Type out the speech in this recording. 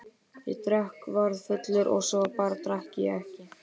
Ég drakk, varð fullur og svo bara drakk ég ekki.